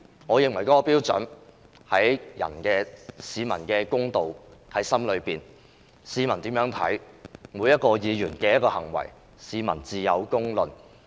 我認為譴責的標準和公道已在市民心中，市民如何看待每一名議員的行為，自有公論。